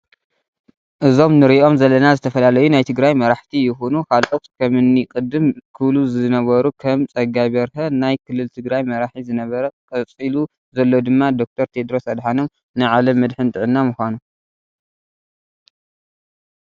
እዚ ንርኦም ዘለና ዝተፋላላዩ ናይ ትግራይ ማራሓቲ ይኩኑ ካለእት ከም እኒ ቅድም ክብሉዝነበሩ ከም ፀጋይ በርሀ ናይ ክልል ትግራይ መራሒ ዝነበረ ቀፅሎ ዘሎ ድማ ደ/ር ቴድሮስ ኣዳሓኖም ናይ ዓለም መድሕን ጥዕና ምዃኑ